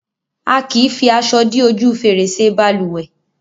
A kì fi aṣọ dí ojú fèrèsé balùwẹ́